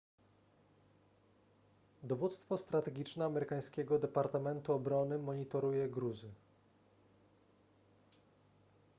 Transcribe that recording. dowództwo strategiczne amerykańskiego departamentu obrony monitoruje gruzy